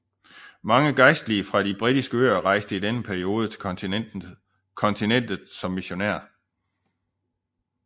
Mange gejstlige fra de Britiske øer rejste i denne periode til kontinentet som missionærer